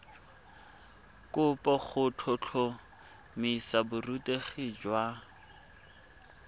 kopo go tlhotlhomisa borutegi jwa